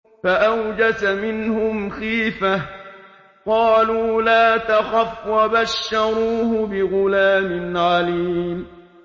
فَأَوْجَسَ مِنْهُمْ خِيفَةً ۖ قَالُوا لَا تَخَفْ ۖ وَبَشَّرُوهُ بِغُلَامٍ عَلِيمٍ